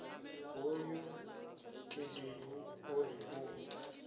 hoyu khedebu o ri u